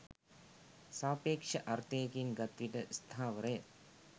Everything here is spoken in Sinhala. සාපේක්ෂ අර්ථයකින් ගත් විට ස්ථාවර ය